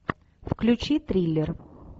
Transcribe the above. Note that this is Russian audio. включи триллер